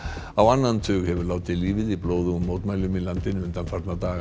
á annan tug hefur látið lífið í blóðugum mótmælum í landinu undanfarna daga